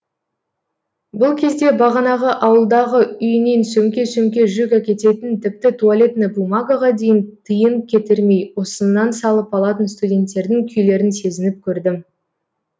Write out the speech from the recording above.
бұл кезде бағанағы ауылдағы үйінен сөмке сөмке жүк әкететін тіпті туалетная бумагаға дейін тиын кетірмей осыннан салып алатын студенттердің күйлерін сезініп көрдім